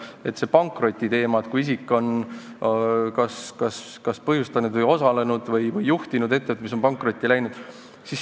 See on see pankrotiteema: kui isik on kas põhjustanud pankroti või osalenud sellise ettevõtte juhtimises või juhtinud ettevõtet, mis on pankrotti läinud.